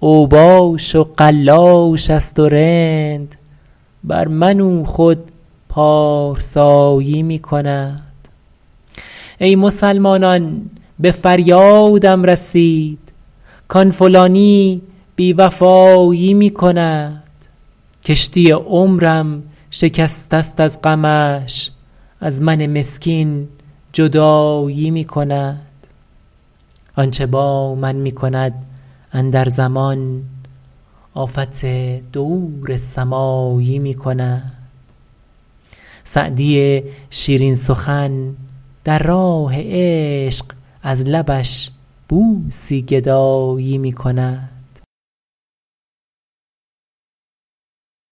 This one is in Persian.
اوباش و قلاش است و رند بر من او خود پارسایی می کند ای مسلمانان به فریادم رسید کآن فلانی بی وفایی می کند کشتی عمرم شکسته است از غمش از من مسکین جدایی می کند آن چه با من می کند اندر زمان آفت دور سمایی می کند سعدی شیرین سخن در راه عشق از لبش بوسی گدایی می کند